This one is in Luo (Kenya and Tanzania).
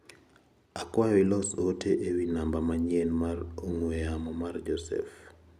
Akwayo ilos ote ewi namba manyien mar ong'ue yama mar Joseph.